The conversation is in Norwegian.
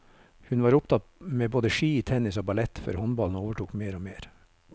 Hun var opptatt med både ski, tennis og ballett, før håndballen overtok mer og mer.